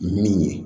Min ye